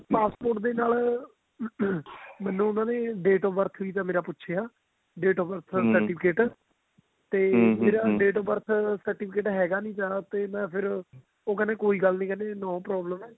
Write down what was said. passport ਦੇ ਨਾਲ ਮੈਨੂੰ ਉਹਨਾ ਦੇ date of birth ਵੀ ਉਹਨਾ ਨੇ ਪੁੱਛਿਆ date ਆਲਾ certificate date of birth certificate ਹੈਗਾ ਨਹੀਂ ਸੀ ਉਹ ਕਹਿੰਦੇ ਕੋਈ ਗੱਲ ਨੀ ਵੀ ਨੋ problem